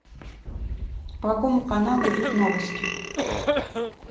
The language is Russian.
по какому каналу идут новости